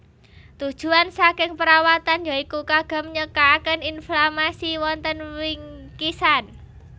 Tujuan saking perawatan ya iku kagem nyakaken inflamasi wonten wingkisan